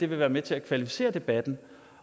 vil være med til at kvalificere debatten